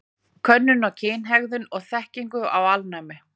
Könnun á kynhegðun og þekkingu á alnæmi.